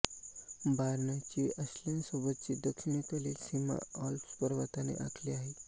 बायर्नची ऑस्ट्रियासोबतची दक्षिणेकडील सीमा आल्प्स पर्वताने आखली आहे